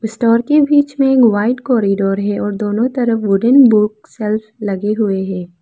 इस डोर के बीच में एक व्हाइट कॉरिडोर है और दोनों तरफ वुडन बुक सेल्फ लगे हुए हैं।